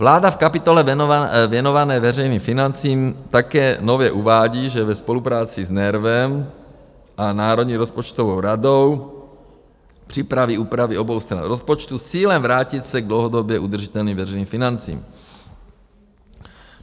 Vláda v kapitole věnované veřejným financím také nově uvádí, že ve spolupráci s NERVem a Národní rozpočtovou radou připraví úpravy obou stran rozpočtu s cílem vrátit se k dlouhodobě udržitelným veřejným financím.